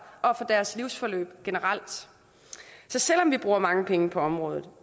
og for deres livsforløb generelt så selv om vi bruger mange penge på området